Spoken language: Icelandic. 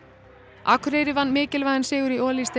Akureyri vann mikilvægan sigur í